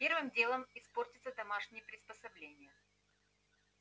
первым делом испортятся домашние приспособления